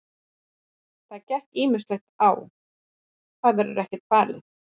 Það gekk ýmislegt á, það verður ekkert falið.